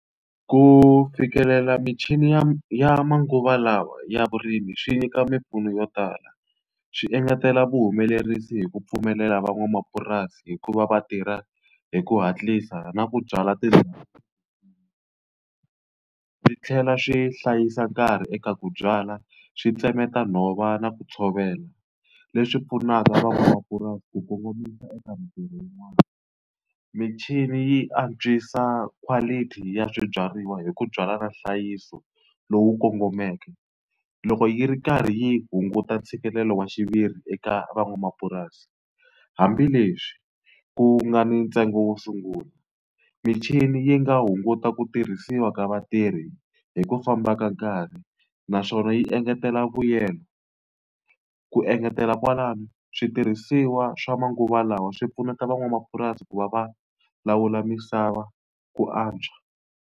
Ku fikelela michini ya ya manguva lawa ya vurimi swi nyika mimpfuno yo tala. Swi engetela vuhumelerisi hi ku pfumelela van'wamapurasi hi ku va va tirha hi ku hatlisa na ku byala swi tlhela swi hlayisa nkarhi eka ku byala, swi tsemeta nhova na ku tshovela. Leswi pfunaka van'wamapurasi ku kongomisa eka mintirho yin'wani. Michini yi antswisa quality ya swibyariwa hi ku byala na nhlayiso lowu kongomeke, loko yi ri karhi yi hunguta ntshikelelo wa xiviri eka van'wamapurasi. Hambileswi ku nga ni ntsengo wo sungula, michini yi nga hunguta ku tirhisiwa ka vatirhi hi ku famba ka nkarhi, naswona yi engetela vuyelo. Ku engetela kwalano switirhisiwa swa manguva lawa swi pfuneta van'wamapurasi ku va va lawula misava ku antswa.